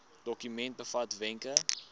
dokument bevat wenke